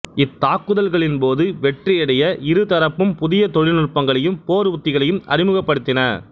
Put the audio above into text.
இத்தாக்குதல்களின் போது வெற்றியடைய இரு தரப்பும் புதிய தொழில்நுட்பங்களையும் போர் உத்திகளையும் அறிமுகப்படுத்தின